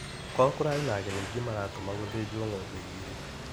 Kwao kũrarĩ na ageni aingĩ maratũma gũthĩnjwo ng'ombe ĩgĩrĩ.